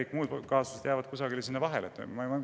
Kõik muud kaasused jäävad kuskile sinna vahepeale.